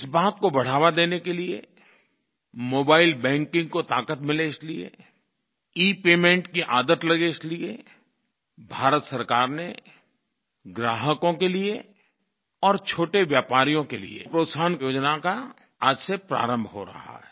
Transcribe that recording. इस बात को बढ़ावा देने के लिये मोबाइल बैंकिंग को ताक़त मिले इसलिये इपेमेंट की आदत लगे इसलिये भारत सरकार ने ग्राहकों के लिये और छोटे व्यापारियों के लिये प्रोत्साहक योजना का आज से प्रारंभ हो रहा है